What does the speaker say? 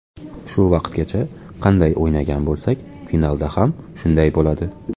Shu vaqtgacha qanday o‘ynagan bo‘lsak, finalda ham shunday bo‘ladi.